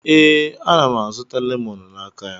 Ee, ana m azụta lemoonu n'aka ya.